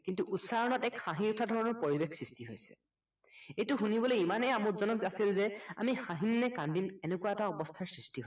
কিন্তু উচ্চাৰণত এক হাঁহি উঠা ধৰণৰ পৰিৱেশ সৃষ্টি হৈছিল। এইটো শুনিবলৈ ইমানেই আমোদজনক আছিল যে আমি হাঁহিম নে কান্দিম এনেকুৱা এটা অৱস্থাৰ সৃষ্টি